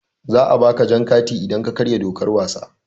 Za a ba ka jan kati idan ka karya dokar wasa.